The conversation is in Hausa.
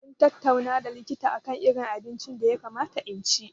Mun tattauna da likita akan irin abinci da ya kamata in ci.